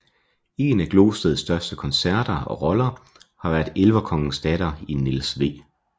En af Glosteds største koncerter og roller har været elverkongens datter i Niels W